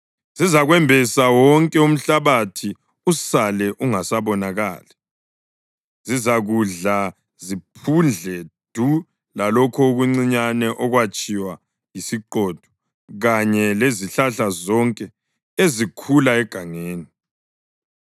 Zizakwembesa wonke umhlabathi usale ungasabonakali. Zizakudla ziphundle du lalokho okuncinyane okwatshiywa yisiqhotho kanye lezihlahla zonke ezikhula egangeni.